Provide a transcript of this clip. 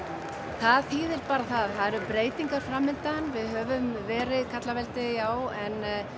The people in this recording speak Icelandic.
það þýðir bara það eru breytingar framundan við höfum verið karlaveldi já en